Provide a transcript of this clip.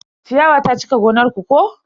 Ciyawa ta cika gonar ku ko?